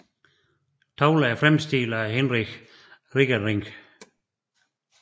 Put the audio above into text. Tavlerne er fremstillet af Hinrich Ringerinck